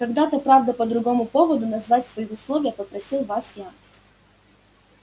когда-то правда по другому поводу назвать свои условия просил вас я